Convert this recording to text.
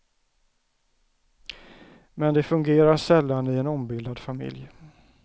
Men det fungerar sällan i en ombildad familj.